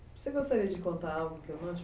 Você gostaria de contar algo que eu não te